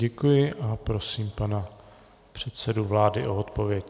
Děkuji a prosím pana předsedu vlády o odpověď.